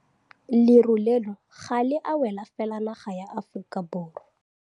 Leru leno ga le a wela fela naga ya Aforika Borwa.